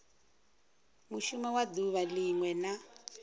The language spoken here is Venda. mushumo wa duvha linwe na